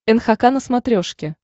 нхк на смотрешке